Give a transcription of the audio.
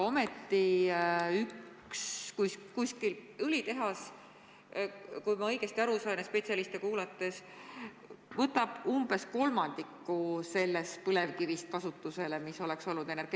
Üks õlitehas, kui ma õigesti aru saan ja spetsialiste kuulan, võtab kasutusele umbes kolmandiku sellest põlevkivist, mis muidu oleks energeetikas kasutust leidnud.